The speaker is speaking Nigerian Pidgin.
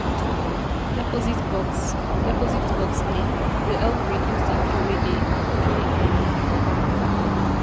Deposit box Deposit box um go help reduce de queue wey dey dey um for bank. um